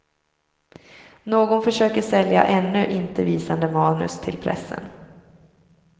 Någon försöker sälja ännu inte visade manus till pressen.